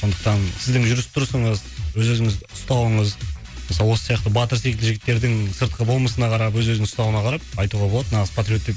сондықтан сіздің жүріс тұрысыңыз өз өзіңізді ұстауыңыз мысалы осы сияқты батыр секілді жігіттердің сыртқы болмысына қарап өз өзін ұстауына қарап айтуға болады нағыз патриот деп